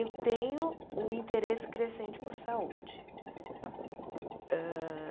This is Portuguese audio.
Eu tenho um interesse crescente por saúde. Hã